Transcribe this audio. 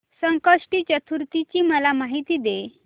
संकष्टी चतुर्थी ची मला माहिती दे